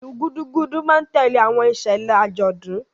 Ilu Gudugudu ma n tẹle awọn iṣẹlẹ ajọdun.